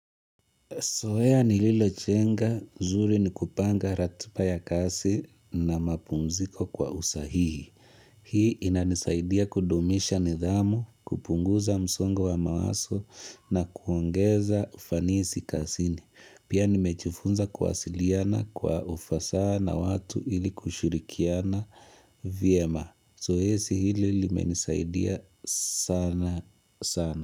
Zoea nililojenga, zuri ni kupanga ratiba ya kazi na mapumziko kwa usahihi. Hii inanisaidia kudumisha nidhamu, kupunguza msongo wa mawazo na kuongeza ufanisi kazini. Pia nimejifunza kuwasiliana kwa ufasaa na watu ili kushirikiana vyema. Zoezi hili limenisaidia sana sana.